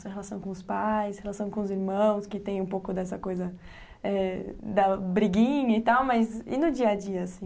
Sua relação com os pais, sua relação com os irmãos, que tem um pouco dessa coisa da briguinha e tal, mas e no dia a dia, assim?